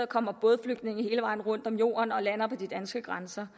kommer bådflygtninge sejlene hele vejen rundt om jorden og lander på de danske grænser